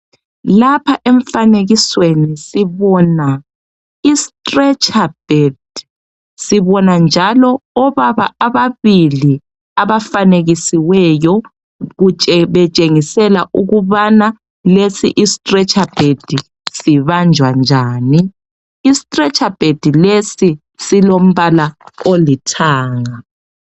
Lapha emfanekisweni sibona isitiletsha bhedi, sibona njalo obaba ababili abafanekisiweyo betshengisela ukubana lesi isitiletsha bhedi sibanjwa njani. Isitiletsha bhedi lesi silombala olithanga.